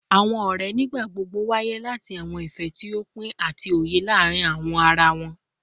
Awọn ọrẹ nigbagbogbo nwaye lati awọn ifẹ ti o pin ati oye laarin ara wọn